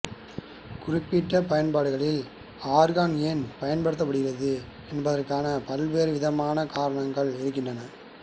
குறிப்பிட்ட பயன்பாடுகளில் ஆர்கான் ஏன் பயன்படுத்தப்படுகிறது என்பதற்கான பல்வேறு விதமான காரணங்கள் இருக்கின்றன